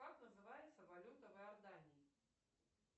как называется валюта в иордании